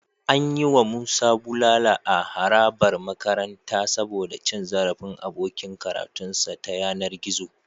An yi wa Musa bulala a harabar makaranta saboda cin zarafin abokin karatunsa ta yanar gizo.